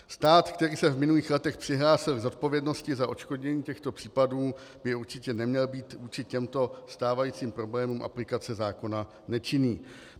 Stát, který se v minulých letech přihlásil k zodpovědnosti za odškodnění těchto případů, by určitě neměl být vůči těmto stávajícím problémům aplikace zákona nečinný.